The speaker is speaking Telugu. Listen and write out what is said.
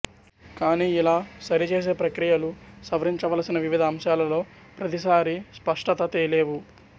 కానీ ఇలా సరి చేసే ప్రక్రియలు సవరించవలసిన వివిధ అంశాలలో ప్రతిసారి స్పష్టత తేలేవు